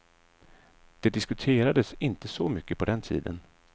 Det diskuterades inte så mycket på den tiden.